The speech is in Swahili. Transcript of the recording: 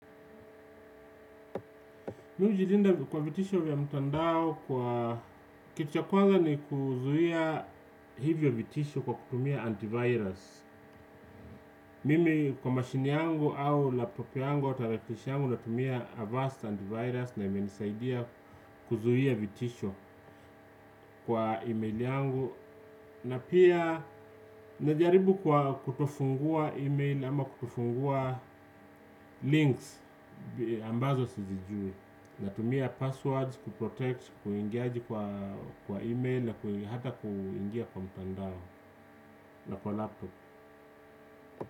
Mimi ujilinda kwa vitisho vya mtandao kwa kitu cha kwanza ni kuzuia hivyo vitisho kwa kutumia antivirus. Mimi kwa mashine yangu au laptopi yangu tarakilishi yangu natumia avast antivirus na imenisaidia kuzuia vitisho kwa email yangu. Na pia najaribu kwa kutofungua email ama kutofungua links ambazo sijijui. Natumia passwords, kuprotect, kuingiaji kwa email na hata kuingia kwa mtandao na kwa laptop.